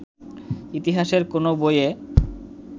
ইতিহাসের কোন বইয়ে